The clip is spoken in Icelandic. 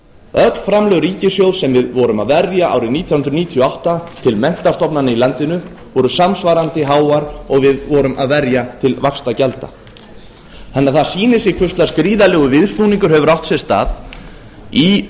öll framlög ríkissjóðs sem við vorum að verja árið nítján hundruð níutíu og átta til menntastofnana í landinu voru samsvarandi háar og við vorum að verja til vaxtagjalda það sýnir sig því hvers lags gríðarlegur viðsnúningur hefur átt sér stað í